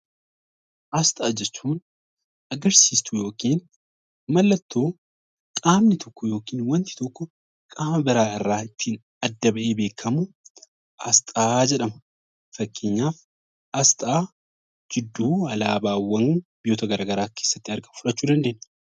Asxaa jechuun mallattoo yookaan agarsiistuu qaamni tokko yookiin qaamni tokko qaama biraarraa adda bahee beekamu asxaa jedhama. Fakkeenyaaf asxaa gidduu alaabaawwan biyyoota garaagaraa fudhachuu dandeenya